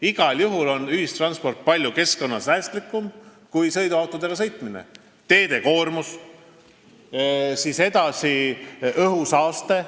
Igal juhul on ühistransport palju keskkonnasäästlikum kui sõiduautodega sõitmine: teede koormus, õhusaaste.